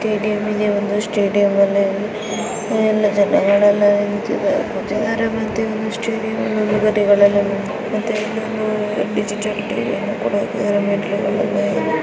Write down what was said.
ಒಂದು ಸ್ಟೇಡಿಯಂ ಇದೆ. ಸ್ಟೇಡಿಯಂ ಅಲ್ಲಿ ಜನಗಳೆಲ್ಲ ಕೂತಿದ್ದಾರೆ ನಿಂತಿದ್ದಾರೆ ಡಿಜಿಟಲ್ ಟಿವಿ ಅನ್ನು ಕೂಡ